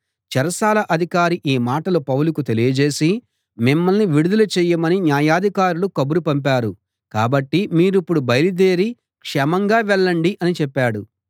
చెరసాల అధికారి ఈ మాటలు పౌలుకు తెలియజేసి మిమ్మల్ని విడుదల చేయమని న్యాయాధికారులు కబురు పంపారు కాబట్టి మీరిప్పుడు బయలుదేరి క్షేమంగా వెళ్ళండి అని చెప్పాడు